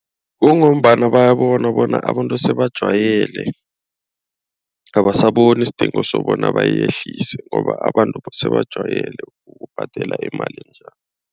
Kungombana bayabona bona abantu sebajwayele. Abasaboni isidingo sokobana bayehlise ngoba abantu sebajwayele ukubhadela imali enjalo.